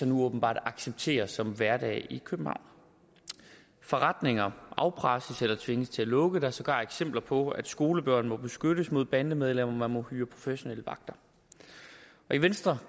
nu åbenbart accepterer som hverdag i københavn forretninger afpresses eller tvinges til at lukke der er sågar eksempler på at skolebørn må beskyttes mod bandemedlemmer man må hyre professionelle vagter i venstre